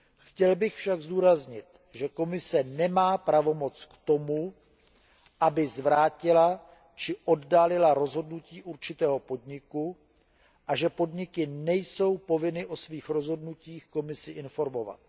Chtěl bych však zdůraznit, že Komise nemá pravomoc k tomu, aby zvrátila či oddálila rozhodnutí určitého podniku, a že podniky nejsou povinny o svých rozhodnutích Komisi informovat.